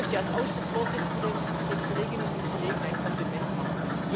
Ich möchte als Ausschussvorsitzende den Kolleginnen und Kollegen ein Kompliment machen.